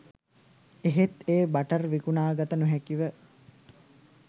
එහෙත් ඒ බටර් විකුණාගත නොහැකිව